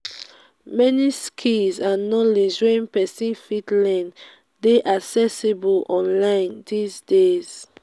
many skills and knowledge wey persin fit learn de accessible online dis days